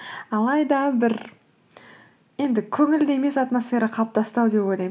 алайда бір енді көңілді емес атмосфера қалыптасты ау деп ойлаймын